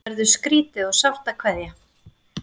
Verður skrýtið og sárt að kveðja